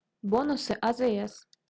бонусы азс